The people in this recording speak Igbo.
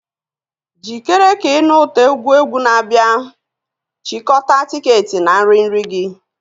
Jikere ka ị nụ ụtọ egwu egwu na-abịa; chịkọta tiketi na nri nri gị.